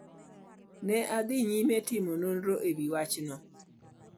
Ne adhi nyime timo nonro e wi wachni.